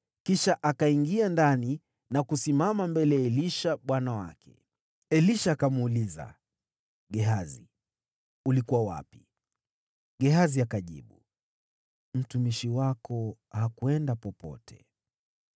Kisha akaingia ndani na kusimama mbele ya Elisha bwana wake. Elisha akamuuliza, “Gehazi, ulikuwa wapi?” Gehazi akajibu, “Mtumishi wako hakwenda popote.”